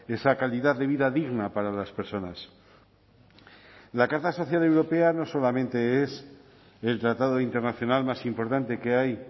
esa calidad de vida digna para las personas la carta social europea no solamente es el tratado internacional más importante que hay